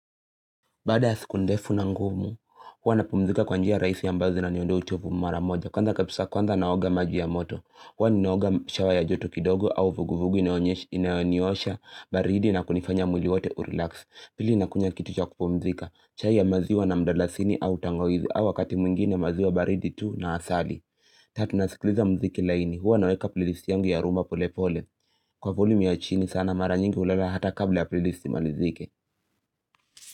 Baada ya siku ndefu na ngumu, huwa na pumzika kwanjia raisi ya mbazi na niondo uchovu mara moja. Kwanza kapisa kwanza naoga maji ya moto. Huwa ninaoga shawa ya joto kidogo au vuguvugu inaoniosha, baridi na kunifanya mwili wote urelax. Pili na kunywa kitu cha kupumzika. Chai ya maziwa na mdalasini au tangoizi au wakati mwingine maziwa baridi tu na asali. Tatu nasikliza mziki laini. Huwa naweka playlist yangu ya rumba pole pole. Kwa volume yachini sana mara nyingi ulala hata kabla ya playlist imalizike.